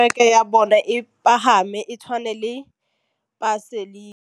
Mopapa o batla kereke ya bone e pagame, e tshwane le paselika.